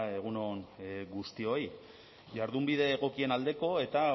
egun on guztioi jardunbide egokien aldeko eta